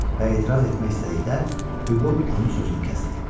Və etiraz etmək istədiyi Hüqo onun sözünü kəsdi.